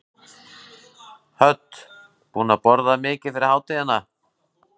Hödd: Búinn að borða mikið yfir hátíðina?